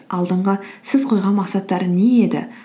алдынғы сіз қойған мақсаттар не еді